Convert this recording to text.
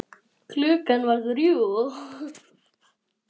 Klukkan var þrjú.